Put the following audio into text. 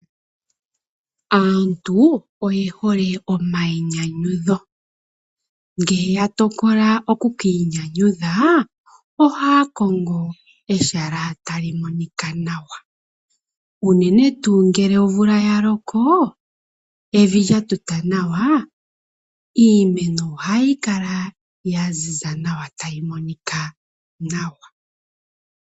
Aantu oye hole omayinyanyudho ngele yatokola oku kiinyanyudha ohaakongo ehala ewanawa. Unene tuu ngele omvula yaloka evi lyatuta nawa iimeno ohayi kala yaziza nawa tayi monika nawa.